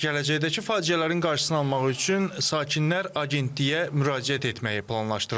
Gələcəkdəki faciələrin qarşısını almaq üçün sakinlər Agentliyə müraciət etməyi planlaşdırırlar.